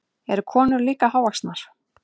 Eru konurnar líka hávaxnar?